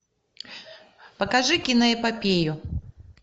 покажи киноэпопею